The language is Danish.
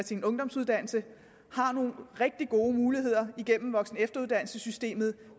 ungdomsuddannelsen har nogle rigtig gode muligheder igennem voksen og efteruddannelsessystemet